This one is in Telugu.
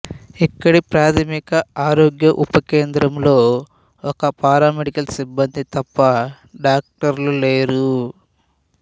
ఇక్కడి ప్రాథమిక ఆరోగ్య ఉప కేంద్రంలో ఒక పారామెడికల్ సిబ్బంది తప్ప డాక్టర్లు లేరు